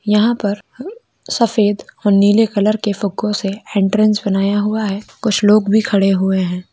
यहाँ पर हम सफ़ेद और नीले कलर के फुग्गो से एंट्रेंस बनया हुआ है कुछ लोग भी खड़े हुए है।